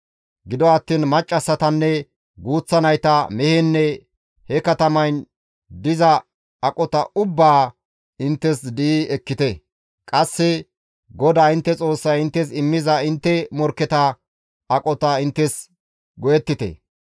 Gido attiin maccassatanne guuththa nayta, mehenne he katamayn diza aqota ubbaa inttes di7i ekkite; qasse GODAA intte Xoossay inttes immiza intte morkketa aqota inttes go7ettite.